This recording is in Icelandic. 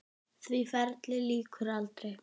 Því ferli lýkur aldrei.